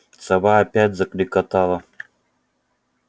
сова опять заклекотала